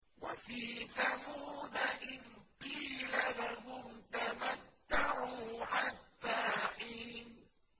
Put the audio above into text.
وَفِي ثَمُودَ إِذْ قِيلَ لَهُمْ تَمَتَّعُوا حَتَّىٰ حِينٍ